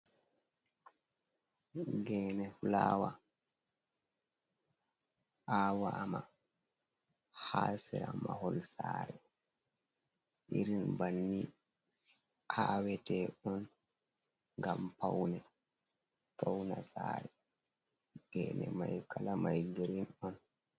Gene fulawa awama ha sera mahol sare irin banni awete on ngam paune fauna sare gene mai kala mai girin on.